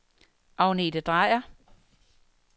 Agnete Drejer